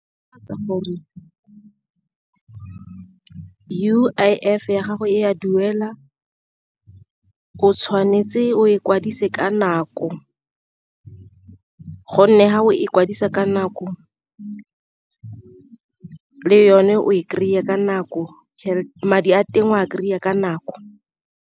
gore U_I_F ya gago e a duela o tshwanetse o e kwadise ka nako, gonne fa o ikwadisa ka nako le yone o e kry-e ka nako madi a teng o a kry-a ka nako.